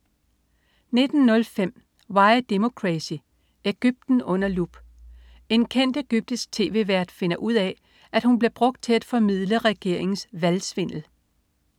19.05 Why Democracy: Egypten under lup. En kendt egyptisk tv-vært finder ud af, at hun bliver brugt til at formidle regeringens valgsvindel